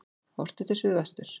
Horft er til suðvesturs.